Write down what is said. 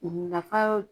Nafa